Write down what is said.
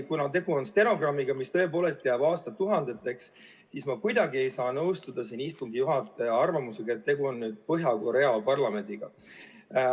Kuna tegu on stenogrammiga, mis tõepoolest jääb aastatuhandeteks, siis ma kuidagi ei saa nõustuda istungi juhataja arvamusega, et tegu on nagu Põhja-Korea parlamendiga.